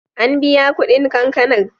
An biya kuɗin kankanar.